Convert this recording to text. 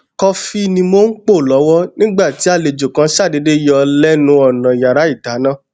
kọfi ni mo n po lọwọ nigba ti alejo kan ṣadeede yọ lénu ònà iyara idana